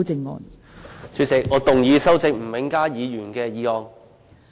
代理主席，我動議修正吳永嘉議員的議案。